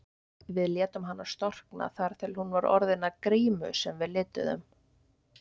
Við létum hana storkna þar til hún var orðin að grímu sem við lituðum.